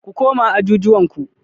Ku koma ajujuwan ku.